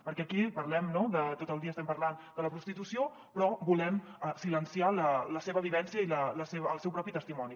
perquè aquí parlem no tot el dia estem parlant de la prostitució però volem silenciar la seva vivència i el seu propi testimoni